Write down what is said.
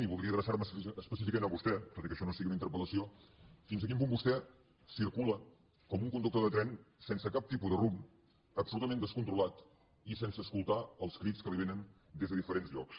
i voldria adreçar me específicament a vostè tot i que això no sigui una interpel·lació fins a quin punt vostè circula com un conductor de tren sense cap tipus de rumb absolutament descontrolat i sense escoltar els crits que li vénen des de diferents llocs